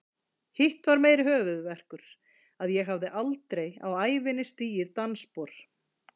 Hitt var meiri höfuðverkur, að ég hafði aldrei á ævinni stigið dansspor.